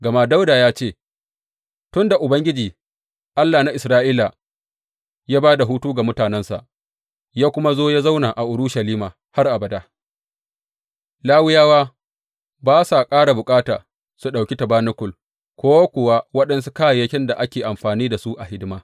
Gama Dawuda ya ce, Tun da Ubangiji, Allah na Isra’ila, ya ba da hutu ga mutanensa, ya kuma zo ya zauna a Urushalima har abada, Lawiyawa ba sa ƙara bukata su ɗauki tabanakul ko kuwa waɗansu kayayyakin da ake amfani da su a hidima.